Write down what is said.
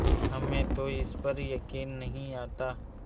हमें तो इस पर यकीन नहीं आता